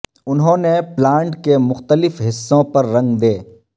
انہوں نے پلانٹ کے مختلف حصوں پر رنگ دے